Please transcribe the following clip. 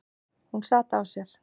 Hún sat á sér.